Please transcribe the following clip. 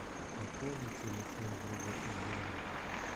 пополнить телефон друга ильдара